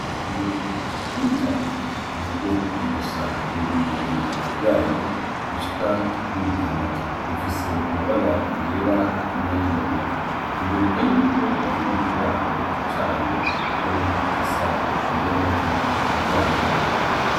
Ingube nene cane iriko yonsa ibibunduguru vyayo bishika kuri bitandatu bifise amabara yera nayirabura bibuneka yuko iri mu kiraro cayo, kuko isa ni yamaze kuryama.